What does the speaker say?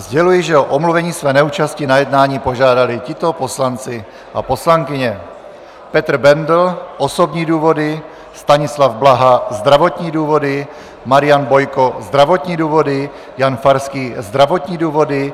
Sděluji, že o omluvení své neúčasti na jednání požádali tito poslanci a poslankyně: Petr Bendl - osobní důvody, Stanislav Blaha - zdravotní důvody, Marian Bojko - zdravotní důvody, Jan Farský - zdravotní důvody,